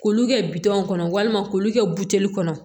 K'olu kɛ bitɔn kɔnɔ walima k'olu kɛ buteli kɔnɔ